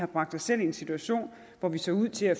bragte os selv i en situation hvor vi så ud til at